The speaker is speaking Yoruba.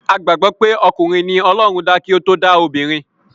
A gbàgbọ́ pé okùnrin ni ọlọ́run dá kí o to dá obìnrin.